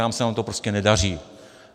Tam se nám to prostě nedaří.